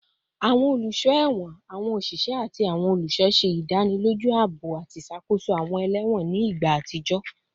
Awọn oluso ẹwọn, awọn oṣiṣẹ, ati awọn oluṣọ ṣe idaniloju aabo ati iṣakoso awọn ẹlẹwọn ni igba atijọ